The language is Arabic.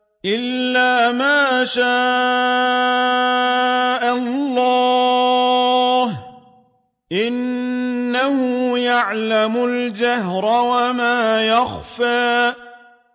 إِلَّا مَا شَاءَ اللَّهُ ۚ إِنَّهُ يَعْلَمُ الْجَهْرَ وَمَا يَخْفَىٰ